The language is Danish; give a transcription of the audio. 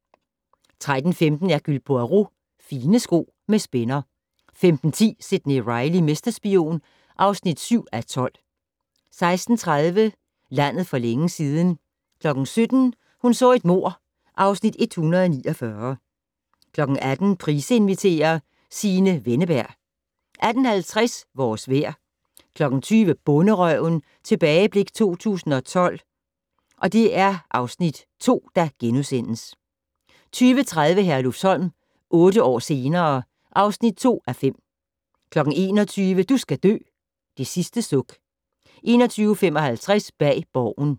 13:15: Hercule Poirot: Fine sko med spænder 15:10: Sidney Reilly - mesterspion (7:12) 16:30: Landet for længe siden 17:00: Hun så et mord (Afs. 149) 18:00: Price inviterer - Signe Wenneberg 18:50: Vores Vejr 20:00: Bonderøven - tilbageblik 2008-2012 (Afs. 2)* 20:30: Herlufsholm - otte år senere ... (2:5) 21:00: Du skal dø: Det sidste suk 21:55: Bag Borgen